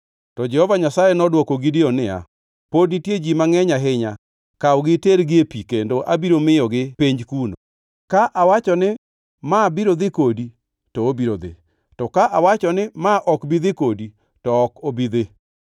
To Jehova Nyasaye nodwoko Gideon niya, “Pod nitie ji mangʼeny ahinya. Kawgi itergi e pi, kendo abiro miyogi penj kuno. Ka awacho ni, ‘Ma biro dhi kodi,’ to obiro dhi; to ka awacho ni, ‘Ma ok bi dhi kodi,’ to ok obi dhi.”